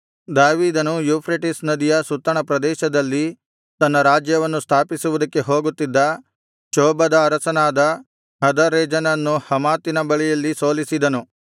ದಾವೀದನು ಯೂಫ್ರೆಟಿಸ್ ನದಿಯ ಸುತ್ತಣ ಪ್ರದೇಶದಲ್ಲಿ ತನ್ನ ರಾಜ್ಯಾಧಿಕಾರವನ್ನು ಸ್ಥಾಪಿಸುವುದಕ್ಕೆ ಹೋಗುತ್ತಿದ್ದ ಚೋಬದ ಅರಸನಾದ ಹದರೆಜರನನ್ನು ಹಮಾತಿನ ಬಳಿಯಲ್ಲಿ ಸೋಲಿಸಿದನು